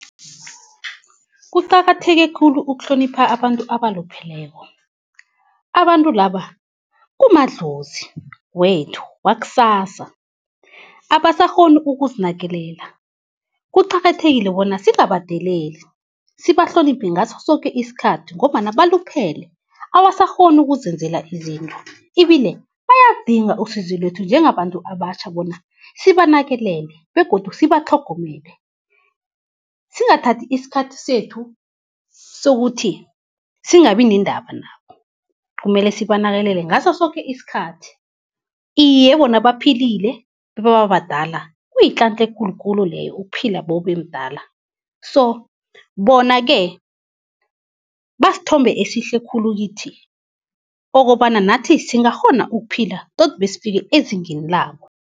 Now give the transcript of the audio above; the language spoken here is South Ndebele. Kuqakatheke khulu ukuhlonipha abantu abalupheleko. Abantu laba kumadlozi wethu wakusasa, abasakghoni ukuzinakekela kuqakathekile bona singabadeleli, sibahloniphe ngaso soke isikhathi, ngombana baluphele abasakghoni ukuzenzela izinto ibile bayalidinga usizo lethu njengabantu abatjha bona sibanakekele begodu sibatlhogomele. Singathathi isikhathi sethu sokuthi singabi nendaba nabo, kumele sibanakekele ngaso soke isikhathi. Iye, bona baphilile bebaba badala kuyitlantla ekulu khulu leyo ukuphila bewube mdala so, bona-ke basithombe esihle khulu kithi ukobana nathi singakghona ukuphila tot besifike ezingeni labo.